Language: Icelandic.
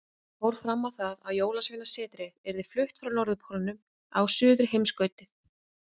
Hann fór fram á það að Jólasveinasetrið yrði flutt frá Norðurpólnum á Suðurheimskautið.